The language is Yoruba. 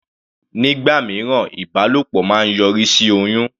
Nígbà mìíràn, ìbálòpọ̀ máa ń yọrí sí oyún.